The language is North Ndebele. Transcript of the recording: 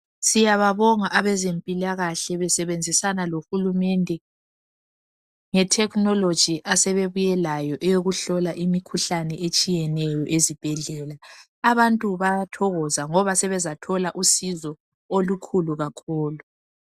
siyababonga abezempilakahle besebenzisana lohulumende le technology asebebuye layo yokuhlola imikhuhlane etshiyeneyo ezibhedlela abantu bayathokoza ngoba sebezathola usizo olukhulu kakhulu